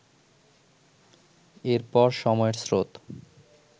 এর পর সময়ের স্রোত